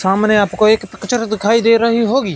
सामने आपको एक दिखाई दे रही होगी।